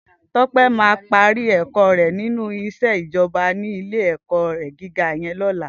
Tope má pàrí èkò rè ninú iṣé ijòbá ni ilé èkò gigá yèn lòlá